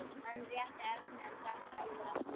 Hann rétti Erni en drakk sjálfur af stút.